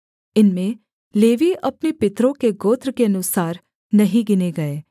इनमें लेवीय अपने पितरों के गोत्र के अनुसार नहीं गिने गए